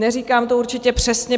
Neříkám to určitě přesně.